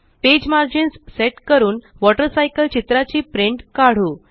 page margins set करून water cycle चित्राची print काढू